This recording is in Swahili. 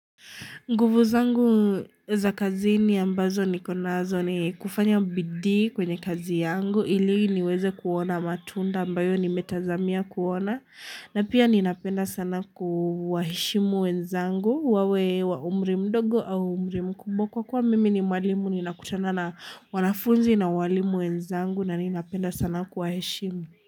Nguvu zangu za kazini ambazo nikonazo ni kufanya bidhii kwenye kazi yangu ili niweze kuona matunda ambayo nimetazamia kuona. Na pia ninapenda sana kuwaheshimu wenzangu, wawe wa umri mdogo au umri mkubwa kwa kuwa mimi ni mwalimu ni nakutana na wanafunzi na walimu wenzangu na ninapenda sana kuwaheshimu.